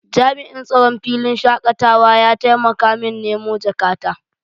jami'in tsaron filin shakatawa ya taimaka min nemo jakata.